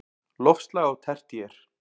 Loftslag á tertíer